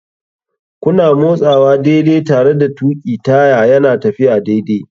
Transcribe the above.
Kuna motsawa daidai tare da tuƙi taya yana tafiya daidai.